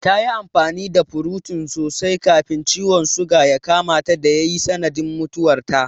Ta yi amfani da furotin sosai kafin ciwon suga ya kamata da ya yi sanadiyar mutuwarta.